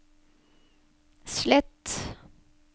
slett